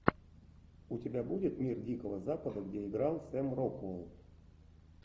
у тебя будет мир дикого запада где играл сэм рокуэлл